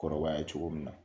Kɔrɔbaya cogo min na